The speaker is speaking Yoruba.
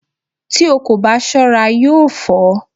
Tí o kò bá ṣọ́ra yóò fọ́